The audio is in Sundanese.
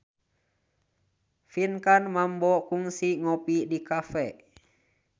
Pinkan Mambo kungsi ngopi di cafe